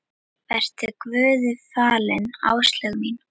Vertu Guði falin, Áslaug mín.